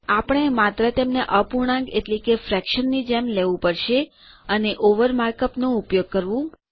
આપણે માત્ર તેમને અપૂર્ણાંક ની જેમ લેવું પડશે અને ઓવર માર્ક અપ નો ઉપયોગ કરો